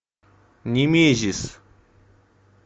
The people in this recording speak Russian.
немезис